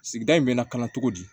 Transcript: Sigida in bɛ nakana cogo di